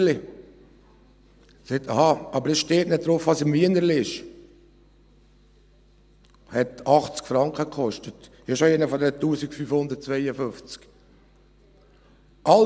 » Er sagt: «Ach so, aber es steht nicht drauf, was im Wienerli drin ist.» Dies hat 80 Franken gekostet, und ich habe schon einen von diesen 1552 «Verzeigen» erhalten.